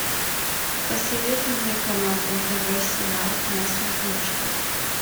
посоветуй мне канал нтв сериал на смотрешке